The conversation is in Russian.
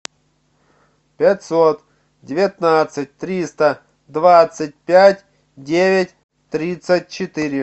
пятьсот девятнадцать триста двадцать пять девять тридцать четыре